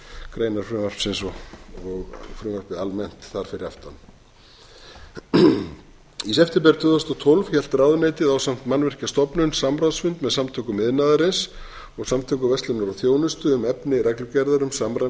greinar frumvarpsins og frumvarpið almennt þar fyrir aftan í september tvö þúsund og tólf hélt ráðuneytið ásamt mannvirkjastofnun samráðsfund með samtökum iðnaðarins og samtökum verslunar og þjónustu um efni reglugerðar um samræmd